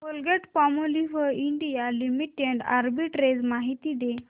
Colgate Palmolive India limited arbitrage माहिती दे